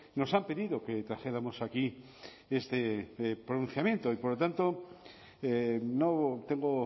nos han pedido que trajéramos aquí este pronunciamiento y por lo tanto no tengo